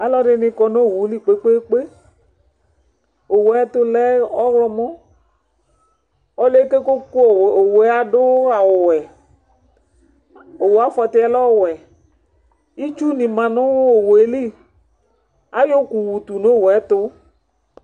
alʊnɩkɔnʊ owʊlɩ kpékpé owʊɛtʊlɛ ɔlɔmɔ ɔlʊɛkokékʊ owʊɛ adʊ awʊ ɔwɛ ɩtsʊnɩ dʊ owʊélɩ